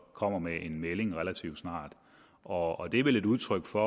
kommer med en melding og det er vel et udtryk for